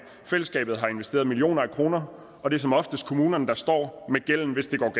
fællesskabet har investeret millioner af kroner og det er som oftest kommunerne der står med gælden hvis det går